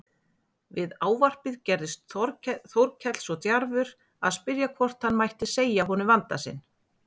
Við ávarpið gerðist Þórkell það djarfur að spyrja hvort hann mætti segja honum vanda sinn.